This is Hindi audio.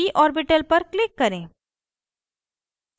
p orbital पर click करें